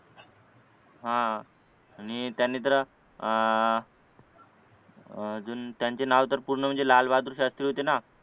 हा आणि त्यांनी तर अह अजून त्यांचे नाव तर पूर्ण म्हणजे लालबहादूर शास्त्री होते ना